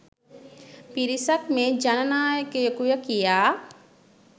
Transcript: පිරිසක් මේ ජන නායකයකුය කියා